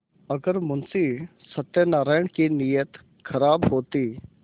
अगर मुंशी सत्यनाराण की नीयत खराब होती